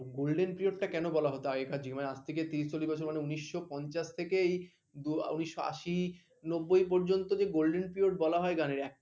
golden period টা কেন বলা হত আগেকার দিনের আজ থেকে ত্রিরিশ চল্লিশ বছর মানে উনিশস পঞ্চাশ থেকে উনিশস আশি নব্বই পর্যন্ত যে golden period বলা হয় কেন